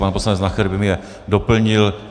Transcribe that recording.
Pan poslanec Nacher by mě doplnil.